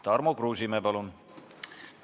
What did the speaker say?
Tarmo Kruusimäe, palun!